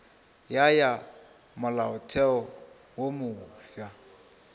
ya ya molaotheo wo mofsa